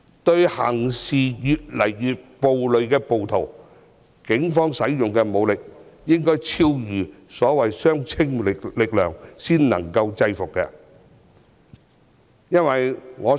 對於越來越暴戾的暴徒，警方使用的武力應該超越相稱力量，才能制服對方。